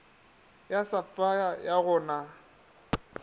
ya sapphire ga go na